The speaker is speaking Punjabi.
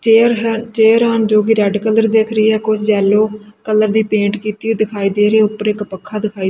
ਚੇਅਰ ਹੈ ਚੇਅਰ ਹਨ ਜੋ ਕਿ ਰੈਡ ਕਲਰ ਦਿਖ ਰਹੀ ਹੈ ਕੁਝ ਯੈਲੋ ਕਲਰ ਦੀ ਪੇਂਟ ਕੀਤੀ ਹੋਈ ਦਿਖਾਈ ਦੇ ਰਹੀ ਹੈ ਉੱਪਰ ਇੱਕ ਪੱਖਾ ਦਿਖਾਈ--